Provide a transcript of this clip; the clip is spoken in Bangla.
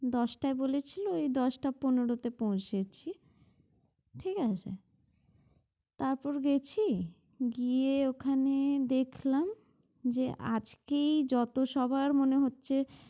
দশটায় বলেছিল এই দশটা পনেরোতে পৌঁছেছি ঠিক আছে? তারপর গেছি গিয়ে ওখানে দেখলাম যে আজকেই যত সবার মনে হচ্ছে